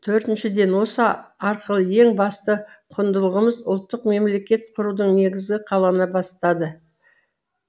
төртіншіден осы арқылы ең басты құндылығымыз ұлттық мемлекет құрудың негізі қалана бастады